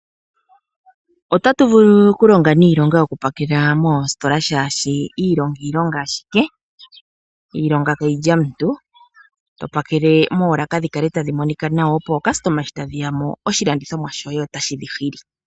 Omuntu otovulu okulonga iilonga yoku pakela moositola oshoka iilonga, iilonga ashike iilonga kayilya omuntu to pakele moolaka dhikale tadhi monika nawa opo aalandi shi ta yeya otaa nanwa kiilandomwa ndjoka yapakelwa nawa.